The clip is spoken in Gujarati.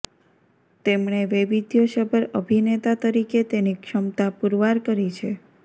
તેણે વૈવિધ્યસભર અભિનેતા તરીકે તેની ક્ષમતા પુરવાર કરી છે